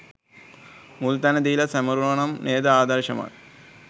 මුල් තැන දීලා සමරුවනම් නේද ආදර්ශමත්.